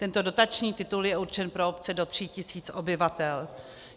Tento dotační titul je určen pro obce do 3 tis. obyvatel.